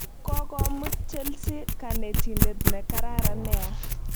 Kokomut chelsea kanetindet ne kararan nea